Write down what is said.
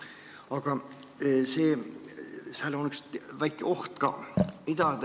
Aga siin on üks väike oht ka.